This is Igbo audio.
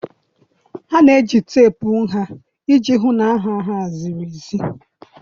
Ha na-eji teepu nha iji hụ na nha ha ziri ezi